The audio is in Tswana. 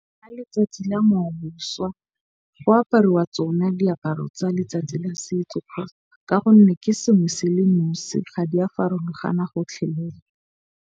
Ka letsatsi la boswa go apariwa tsona diaparo tsa letsatsi la setso. Ka gonne ke sengwe se le ga di a farologana gotlhelele.